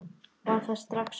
Var það strax ungur.